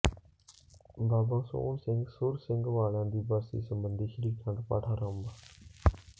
ਬਾਬਾ ਸੋਹਣ ਸਿੰਘ ਸੁਰ ਸਿੰਘ ਵਾਲਿਆਂ ਦੀ ਬਰਸੀ ਸਬੰਧੀ ਸ੍ਰੀ ਅਖੰਡ ਪਾਠ ਆਰੰਭ